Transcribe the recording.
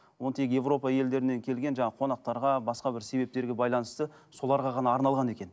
оны тек европа елдерінен келген жаңа қонақтарға басқа бір себептерге байланысты соларға ғана арналған екен